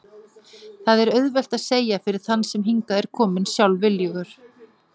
Það er auðvelt að segja fyrir þann sem hingað er kominn sjálfviljugur.